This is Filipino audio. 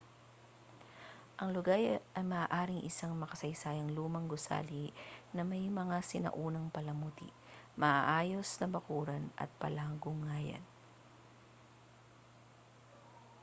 ang lugar ay maaaring isang makasaysayang lumang gusali na may mga sinaunang palamuti maayos na bakuran at palanguyan